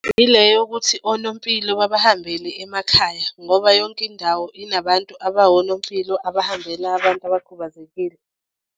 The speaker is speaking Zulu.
Ile yokuthi onompilo babahambele emakhaya ngoba yonke indawo inabantu abawonompilo abahambela abantu abakhubazekile.